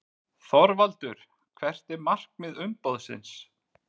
ÞORVALDUR: Hvert er markmið umboðsins?